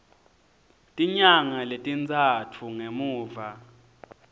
tinyanga letintsatfu ngemuva